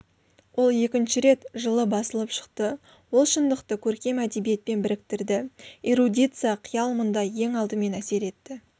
ол екінші рет жылы басылып шықты ол шындықты көркем әдебиетпен біріктірді эрудиция қиял мұнда ең алдымен әсер етті